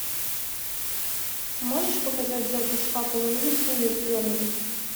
можешь показать запись апл ливерпуля с бернли